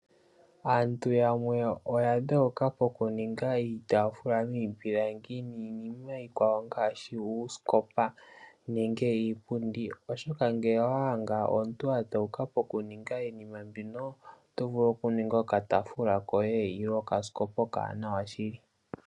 Aantu yamwe oya dholoka pokuninga iitaafula miipilangi niinima iikwawo ngaashi uusikopa nenge iipundi. Oshoka ngele owa adha omuntu adholoka poku ninga iinima mbino, oto vulu oku ninga okataafula koye ile okasikopa okawanawa shili.